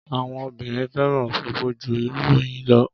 Àwọn obìnrin fẹ́ràn ofofo jú ìròyìn lo